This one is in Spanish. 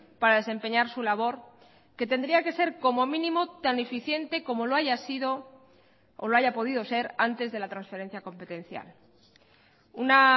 para desempeñar su labor que tendría que ser como mínimo tan eficiente como lo haya sido o lo haya podido ser antes de la transferencia competencial una